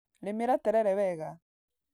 Rĩmĩra terere wega.